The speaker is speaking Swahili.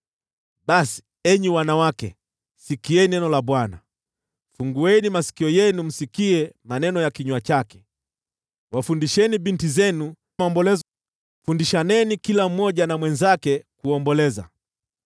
Basi, enyi wanawake, sikieni neno la Bwana ; fungueni masikio yenu msikie maneno ya kinywa chake. Wafundisheni binti zenu kuomboleza; fundishaneni kila mmoja na mwenzake maombolezo.